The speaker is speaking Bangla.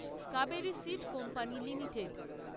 Kaveri seed company limited